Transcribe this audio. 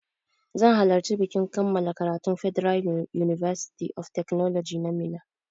Zan halarci bikin kammala karatun federal university of technology na Minna